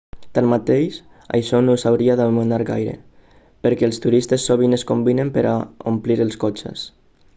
tanmateix això no us hauria d'amoïnar gaire perquè els turistes sovint es combinen per a omplir els cotxes